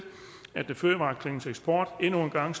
at fødevareklyngens eksport endnu en gang